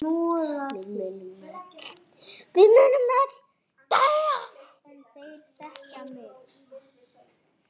Við munum öll deyja.